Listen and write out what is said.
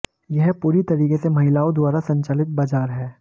यह पूरी तरीके से महिलाओं द्वारा संचालित बाजार है